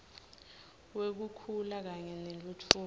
wekukhula kanye nentfutfuko